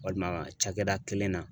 Walima cakɛda kelen na